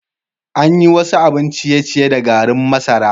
An yi wasu abin ciye-ciye da garin masara.